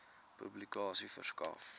publikasie verskaf